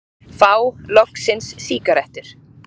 Fá loksins sígarettur